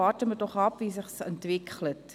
Warten wir doch ab, wie es sich entwickelt.